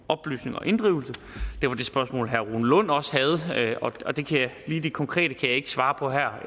og inddrivelse det var det spørgsmål herre rune lund også havde lige det konkrete kan jeg ikke svare på her